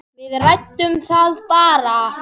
Við ræddum það bara.